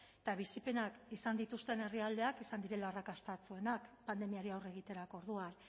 eta bizipenak izan dituzten herrialdeak izan direla arrakastatsuenak pandemiari aurre egiterako orduan